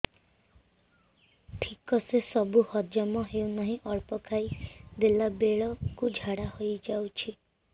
ଠିକସେ ସବୁ ହଜମ ହଉନାହିଁ ଅଳ୍ପ ଖାଇ ଦେଲା ବେଳ କୁ ଝାଡା ହେଇଯାଉଛି